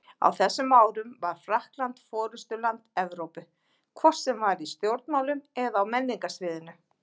Á þessum árum var Frakkland forystuland Evrópu, hvort sem var í stjórnmálum eða á menningarsviðinu.